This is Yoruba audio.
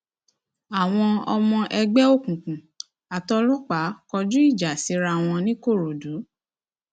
àwọn ọmọ ẹgbẹ òkùnkùn àtòlòpàá kọjú ìjà síra wọn nìkòròdú